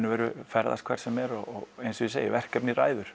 og veru ferðast hvert sem er og eins og ég segi verkefnið ræður